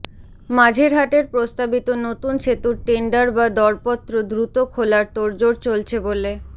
মাঝেরহাটের প্রস্তাবিত নতুন সেতুর টেন্ডার বা দরপত্র দ্রুত খোলার তোড়জোড় চলছে বলে